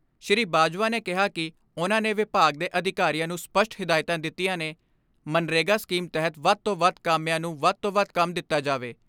ਸ਼੍ਰੀ ਬਾਜਵਾ ਨੇ ਕਿਹਾ ਕਿ ਉਨ੍ਹਾਂ ਨੇ ਵਿਭਾਗ ਦੇ ਅਧਿਕਾਰੀਆਂ ਨੂੰ ਸਪਸ਼ਟ ਹਿਦਾਇਤਾਂ ਦਿੱਤੀਆਂ ਨੇ ਮਗਨਰੇਗਾ ਸਕੀਮ ਤਹਿਤ ਵੱਧ ਤੋਂ ਵੱਧ ਕਾਮਿਆਂ ਨੂੰ ਵੱਧ ਤੋਂ ਵੱਧ ਕੰਮ ਦਿੱਤਾ ਜਾਵੇ।